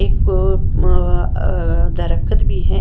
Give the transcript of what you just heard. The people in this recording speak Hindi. एक म अ दरख़्त भी है।